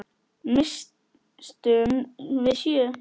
Misstum við sjö?